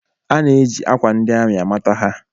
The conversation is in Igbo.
A na-eji akwa ndi amị amata ha